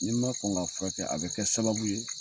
Ni ma kɔn ka furakɛ a bɛ kɛ sababu ye.